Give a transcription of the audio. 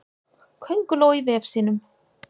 Könguló í vef sínum.